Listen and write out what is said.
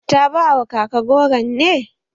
Ta ba wa kaka goro ne?